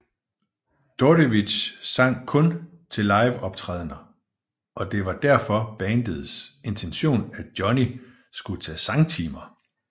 Dordevic sang kun til liveoptrædener og det var derfor bandets intention at Johnny skulle tage sangtimer